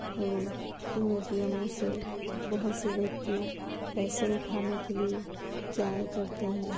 और इन ए_टी_एम मो से बहुत से व्यक्ति पैसे उठाने के लिए जाया करते हैं।